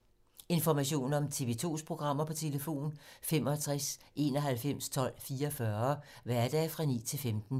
Information om TV 2's programmer: 65 91 12 44, hverdage 9-15.